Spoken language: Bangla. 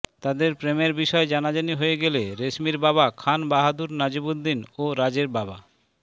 তাদের প্রেমের বিষয় জানাজানি হয়ে গেলে রেশমির বাবা খান বাহাদুর নাজিমউদ্দিন ও রাজের বাবা